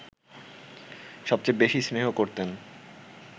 সবচেয়ে বেশি স্নেহ করতেন